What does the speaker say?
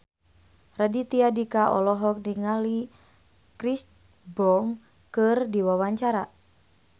Raditya Dika olohok ningali Chris Brown keur diwawancara